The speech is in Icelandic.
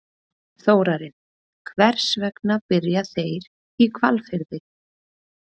Þórarinn, hvers vegna byrja þeir í Hvalfirði?